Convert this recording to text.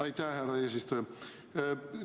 Aitäh, härra eesistuja!